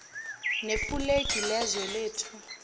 nefulegi lezwe lethu